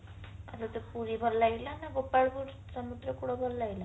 ଆଉ ତତେ ପୁରୀ ଭଲ ଲାଗିଲା ନା ଗୋପାଳପୁର ସମୁଦ୍ର ଭଲ ଲାଗିଲା